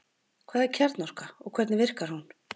Hvað er kjarnorka og hvernig virkar hún?